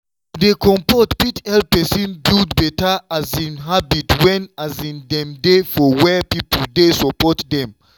to dey comfort fit help person build better um habit when um dem dey for where people dey support dem.